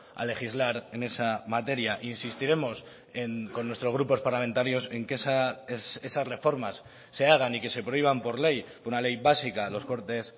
a legislar en esa materia insistiremos con nuestros grupos parlamentarios en que esas reformas se hagan y que se prohíban por ley una ley básica los cortes